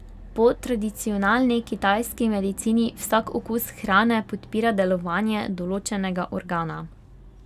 Po tradicionalni kitajski medicini vsak okus hrane podpira delovanje določenega organa.